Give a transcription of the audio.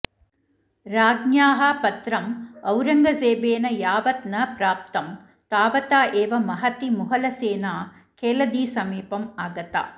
राज्ञ्याः पत्रम् औरॅङ्गजेबेन यावत् न प्राप्तं तावता एव महती मुगलसेना केळदिसमीपम् आगता